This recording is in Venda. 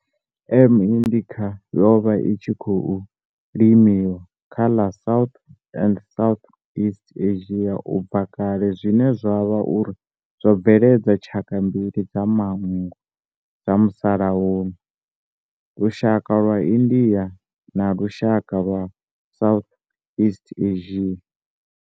M. indicate yo vha i tshi khou limiwa kha ḽa South na Southeast Asia ubva kale zwine zwa vha uri zwo bveledza tshaka mbili dza manngo dza musalauno, lushaka lwa India na lushaka lwa Southeast Asia.